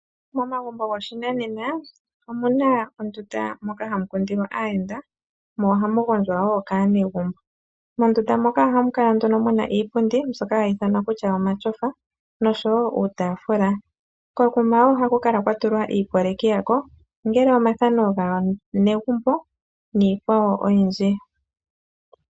Momagumbo goshinanena omuna ondunda moka hayi kundilwa aayenda mo ohamu gondjwa woo kaanegumbo, mondunda moka ohamu kala muna iipundi mbyoka hayi ithanwa kutya omasofa noshowo uutaafula, kekuma woo ohaku kala kwatulwa omathano gaanegumbo niikwawo oyindji.